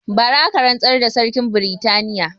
Bara aka rantsar da sarkin britaniya